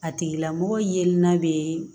A tigilamɔgɔ ye n'a bɛ